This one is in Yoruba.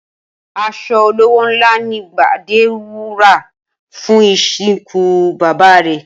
As̩o̩ olówó ńlá ni Gbadé rà fún ìsìnkú bàbá rè̩